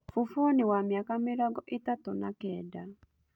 Bũboni wa mĩaka mĩrongo ĩtatũna Kenda.